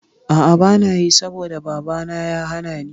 A'a banayi saboda babana ya hanani